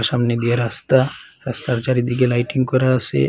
সামনে দিয়ে রাস্তা রাস্তার চারিদিকে লাইটিং করা আসে ।